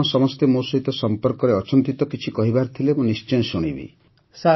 ଆପଣ ସମସ୍ତେ ମୋ ସହିତ ସମ୍ପର୍କରେ ଅଛନ୍ତି ତ କିଛି କହିବାର ଥିଲେ ମୁଁ ନିଶ୍ଚୟ ଶୁଣିବି